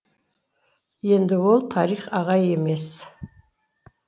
енді ол тарих ағай емес